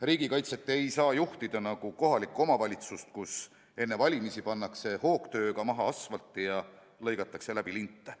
Riigikaitset ei saa juhtida nagu kohalikku omavalitsust, kus enne valimisi pannakse hoogtööga maha asfalti ja lõigatakse läbi linte.